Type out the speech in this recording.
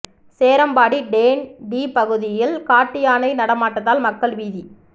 Cherambadi TANTEA பகுதியில் காட்டு யானை நடமாட்டத்தால் மக்கள் பீதி